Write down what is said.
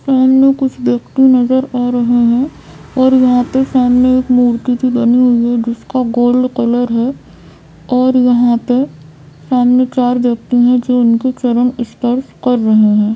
सामने कुछ व्यक्ति नजर आ रहे हैं और यहाँ पे सामने एक मूर्ति बनी हुई है जिसका गोल्ड कलर है और यहाँ पे सामने चार व्यक्ति नजर आ रहे हैं जो इनके चरण स्पर्श कर रहे हैं।